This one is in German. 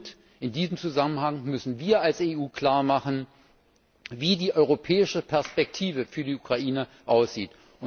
Und in diesem Zusammenhang müssen wir als EU klar machen, wie die europäische Perspektive für die Ukraine aussieht.